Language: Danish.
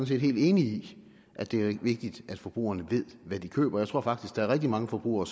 set helt enig at det er vigtigt at forbrugerne ved hvad de køber jeg tror faktisk der er rigtig mange forbrugere